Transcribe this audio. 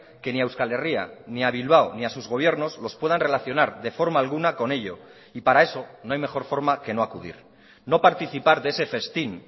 que ni a euskal herria ni a bilbao ni a sus gobiernos los puedan relacionar de forma alguna con ello y para eso no hay mejor forma que no acudir no participar de ese festín